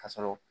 Ka sɔrɔ